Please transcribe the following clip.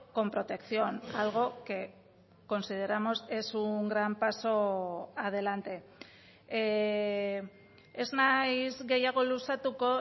con protección algo que consideramos es un gran paso adelante ez naiz gehiago luzatuko